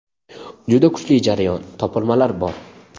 Juda kuchli jarayon, topilmalar bor.